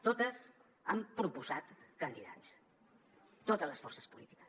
totes han proposat candidats totes les forces polítiques